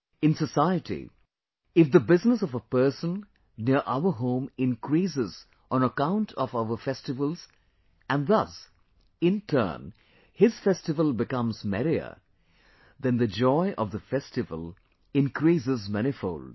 In society, if the business of a person near our home increases on account of our festivals and thus, in turn, his festival becomes merrier, then the joy of the festival increases manifold